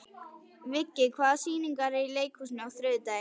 Viggi, hvaða sýningar eru í leikhúsinu á þriðjudaginn?